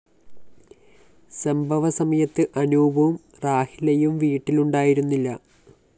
സംഭവ സമയത്ത് അനൂപും റാഹിലയും വീട്ടിലുണ്ടായിരുന്നില്ല